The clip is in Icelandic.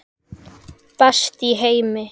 Best í heimi.